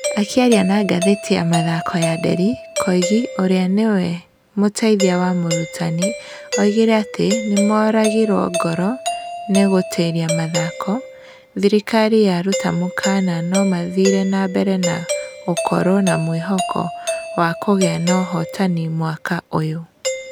Akĩaria na ngatheti ya mathako ya Nderi, Koigi ũrĩa ningĩ nĩwe mũteithia wa mũrutani augire atĩ nĩmoragirwo ngoro nĩ 'gutĩre mathako' thirikari yaruta mũkana no mathire na mbere na gũkorwo na mwĩhoko wa kugĩa na uhotani mwaka uyu.